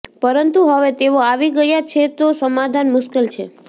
પરંતુ હવે તેઓ આવી ગયા છે તો સમાધાન મુશ્કેલ છે